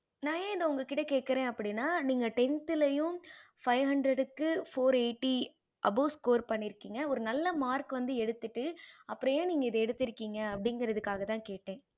நான் ஏன இத உங்க கிட்ட கேக்குறேன் அப்படின்னா நீங்க tenth ளையும் five hundred க்கு four eighty above score பன்னிருகிங்க ஒரு நல்ல mark வந்து எடுத்து அப்பறம் ஏன் நீங்க இத எடுத்திருகிங்க அப்படிங்கறதுக்காக தான் கேட்டன்